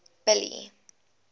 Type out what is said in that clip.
billy